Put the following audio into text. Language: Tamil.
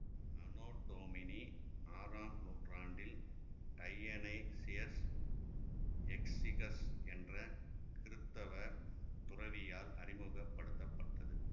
அனொ டொமினி ஆறாம் நூற்றாண்டில் டையனைசியஸ் எக்ஸிகஸ் என்ற கிருத்தவ துறவியால் அறிமுக படுத்தப்பட்டது